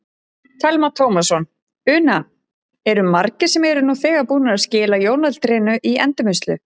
Telma Tómasson: Una, eru margir sem eru nú þegar búnir að skila jólatrénu í endurvinnslu?